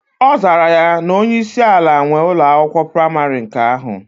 Ozara ya na onye isi ala nwe Ụlọ akwụkwọ praịmarị nke ahu.